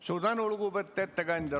Suur tänu, lugupeetud ettekandja!